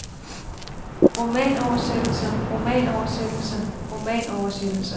romanoversættelser romanoversættelser romanoversættelser